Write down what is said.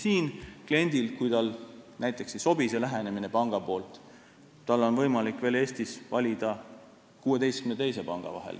Kui kliendile näiteks ei sobi panga selline lähenemine, siis on tal võimalik Eestis valida veel 16 teise panga vahel.